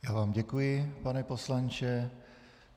Já vám děkuji, pane poslanče.